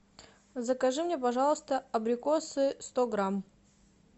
закажи мне пожалуйста абрикосы сто грамм